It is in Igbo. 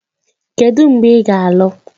Kedu mgbe ị ga-alụ?